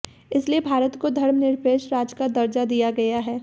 इसीलिए भारत को धर्मनिरपेक्ष राज्य का दर्जा दिया गया है